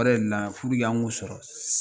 Yɛrɛ na an k'u sɔrɔ